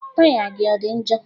Taya gị ọ dị njọ?